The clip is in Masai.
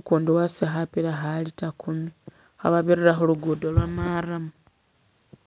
ukundi wasutile khapila kha litre kumi khababirira khulugudo lwa maramu